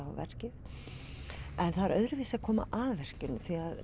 á verkið en það er öðruvísi að koma að verkinu